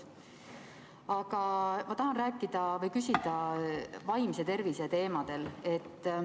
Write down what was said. Aga ma tahan rääkida või küsida vaimse tervise teemadel.